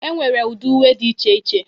E nwere ụdị uwe dị iche iche.